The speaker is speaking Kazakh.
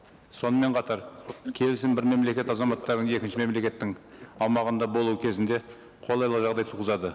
сонымен қатар келісім бір мемлекет азаматтарын екінші мемлекеттің аумағында болуы кезінде қолайлы жағдай туғызады